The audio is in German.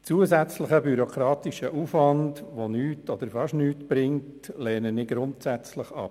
Zusätzlichen bürokratischen Aufwand, der nichts oder fast nichts bringt, lehne ich grundsätzlich ab.